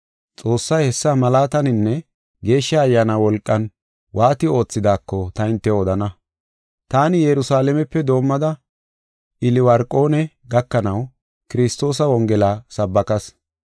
Xoossay hessa malaataninne Geeshsha Ayyaana wolqan waati oothidaako ta hintew odana. Taani Yerusalaamepe doomada, Iliwarqoone gakanaw Kiristoosa Wongela sabbakas.